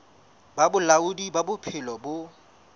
ba bolaodi ba bophelo bo